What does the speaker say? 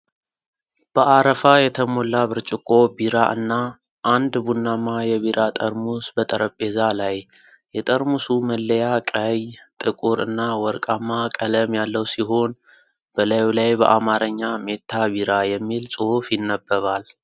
በአረፋ የተሞላ ብርጭቆ ቢራ እና አንድ ቡናማ የቢራ ጠርሙስ በጠረጴዛ ላይ ። የጠርሙሱ መለያ ቀይ፣ ጥቁር እና ወርቃማ ቀለም ያለው ሲሆን በላዩ ላይ በአማርኛ "ሜታ ቢራ" የሚል ጽሑፍ ይነበባል።